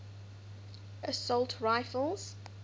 assault rifles